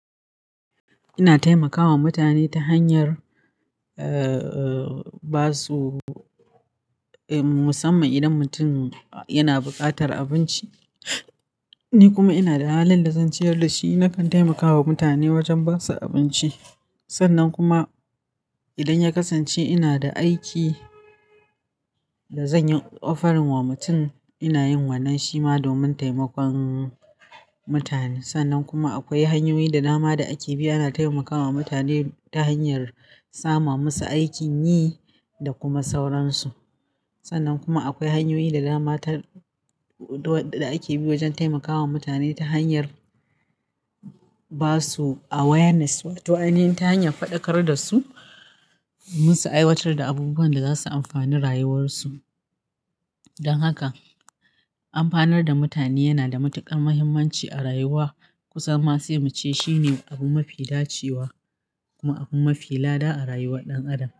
Ina taimakawa mutane ta hanyar, eh, ba su, musamman idan mutum yana buƙatar abinci. Ni kuma ina da halin lasanticar da shi, nakan taimakawa mutane wajen ba su abinci. Sannan kuma, idan ya kasance ina da aiki, da zan yi offering wa mutum, ina yin wannan shi ma domin taimakon mutane. Sannan kuma akwai hanyoyi da dama da ake bi ana taimakawa mutane, ta hanyar sama musu aikin yi, da kuma sauransu. Sannan kuma akwai hanyoyi da dama ta, da ake bi wajen taimakawa mutane ta hanyar ba su awareness, wato ainihin ta hanyar faɗakar da su, munsu aiwatar da abubuwan da za su amfani rayuwarsu. Don haka, amfanar da mutane yana da matuƙar muhimmanci a rayuwa. Kusan ma sai mu ce shine abu mafi dacewa. Kuma abu mafi lada a rayuwar ɗan adam.